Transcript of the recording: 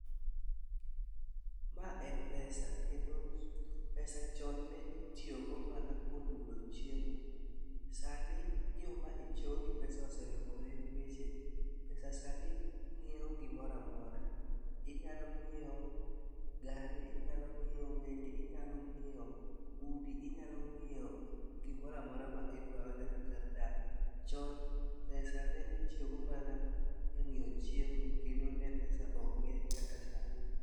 Ma en pesa. Kendo pesa chon ne itiyogo mana kuom yudo chiemo. Sani yo ma itiyogo gi pesa oselokore, ningeche pesa sani nyiewo gimoro amora. Inyalo ng'iewo gari ,inyalo ng'iewo meli, inyalo ng'iewo udi, inyalo ng'iewo gimoro amora ma idwaro nyaka kar dak. Chon pesa ne itiyogo mana e ng'iewo chiemo kendo pesa ne ok ng'eny kaka sani.